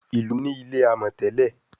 Ilú ní ilé amò tèlé.